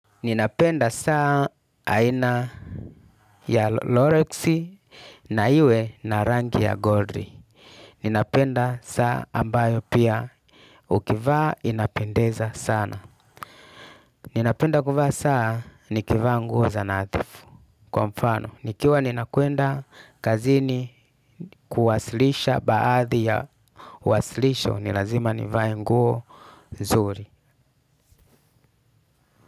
Ninapenda saa aina ya loreksi na iwe na rangi ya godri. Ninapenda saa ambayo pia ukivaa inapendeza sana. Ninapenda kuvaa saa nikivaa nguo za nathifu. Kwa mfano, nikiwa ninakwenda kazini kuwasilisha baadhi ya wasilisho, ni lazima nivae nguo zuri.